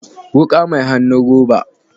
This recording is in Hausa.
Wuka mai hannun roba